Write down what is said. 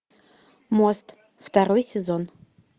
мост второй сезон